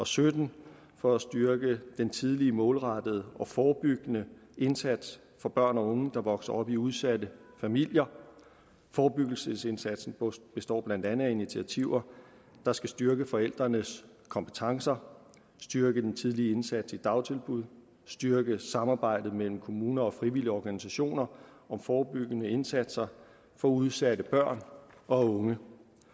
sytten for at styrke den tidlige målrettede og forebyggende indsats for børn og unge der vokser op i udsatte familier forebyggelsesindsatsen består blandt andet af initiativer der skal styrke forældrenes kompetencer styrke den tidlige indsats i dagtilbud styrke samarbejdet mellem kommuner og frivillige organisationer om forebyggende indsatser for udsatte børn og unge